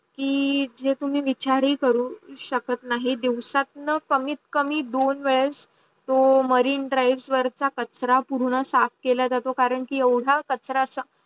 की जे तुम्ही निचारी करू शकत नाही दिवसाटणं कमीत कमी दोन वेड तो मॅरीने ड्राईव्ह चा कचरा पूर्ण साफ केला जातो करण की येवडा कचरा च